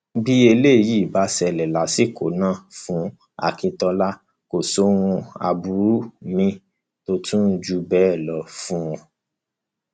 bí eléyìí bá ṣẹlẹ lásìkò náà fún akintola kò sí ohun aburú míín tó tún jù bẹẹ lọ fún un